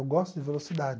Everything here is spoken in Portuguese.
Eu gosto de velocidade.